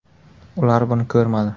Ular buni ko‘rmadi”.